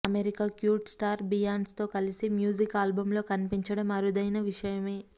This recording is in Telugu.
అమెరికా క్యూట్ స్టార్ బియాన్స్ తో కలిసి మ్యూజిక్ ఆల్బంలో కనిపించడం అరుదైన విషయమే